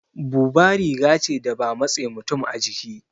Buba riga ce da ba matse mutum a jiki